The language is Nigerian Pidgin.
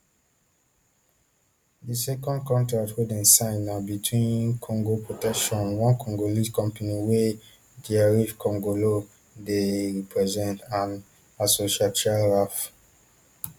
di second contract wey dem sign na between congo protection one congolese company wey thierry kongolo dey represent and asociatia ralf